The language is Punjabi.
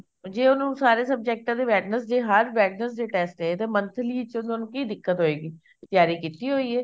ਜੇ ਉਹਨੂੰ ਸਾਰੇ ਸਬਜੈਕਟਾ ਦੇ Wednesday ਹਰ Wednesday test ਐ ਤੇ monthly ਵਿੱਚ ਤੁਹਾਨੂੰ ਕਿ ਦਿੱਕਤ ਹੋਏਗੀ ਤਿਆਰੀ ਕੀਤੀ ਹੋਈ ਐ